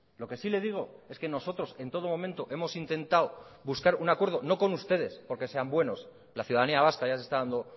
lo que sí le digo es que nosotros en todo momento hemos intentado buscar un acuerdo no con ustedes porque sean buenos la ciudadanía vasca ya se está dando